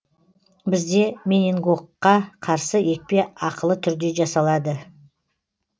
бізде менингокқа қарсы екпе ақылы түрде жасалады